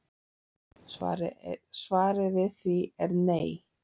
Svarið við því er nei